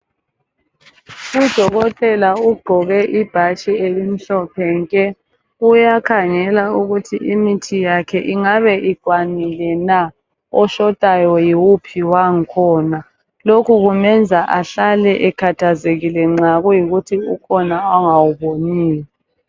Udokotela ugqoke ibhatshi elimhlophe nke. Uyakhangela ukuthi imithi yakhe ingabe ikwanile na. Oshotayo yiwuphi wangkhona. Lokhu kumenza ahlale ekhathazekile nxa kuyikuthi ukhona angawuboniyo.